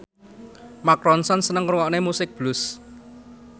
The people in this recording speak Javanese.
Mark Ronson seneng ngrungokne musik blues